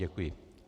Děkuji.